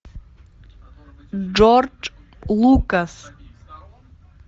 джордж лукас